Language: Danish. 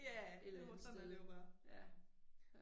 Et eller andet sted, ja, ja